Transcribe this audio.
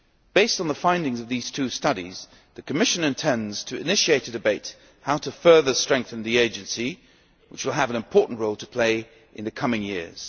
Based on the findings of these two studies the Commission intends to initiate a debate on how to further strengthen the agency which will have an important role to play in the coming years.